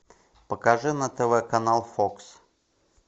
покажи на тв канал фокс